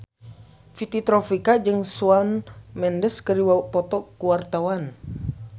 Fitri Tropika jeung Shawn Mendes keur dipoto ku wartawan